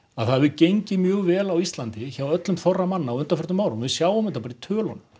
að það hefur gengið mjög vel á Íslandi hjá öllum þorra manna á undanförum árum og við sjáum þetta bara í tölunum